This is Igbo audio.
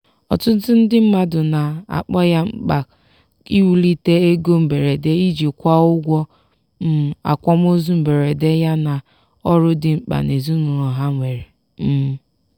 ọtụtụ ndị mmadụ na-akpọ ya mkpa iwulite ego mberede iji kwụọ ụgwọ um akwamozu mberede yana ọrụ dị mkpa ezinụlọ ha nwere um